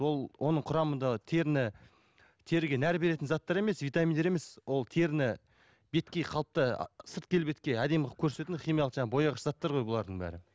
ол оның құрамындағы теріні теріге нәр беретін заттар емес витаминдер емес ол теріні беткей қалыпты сырт келбетке әдемі қылып көрсететін химиялық жаңағы бояғыш заттар ғой бұлардың бәрі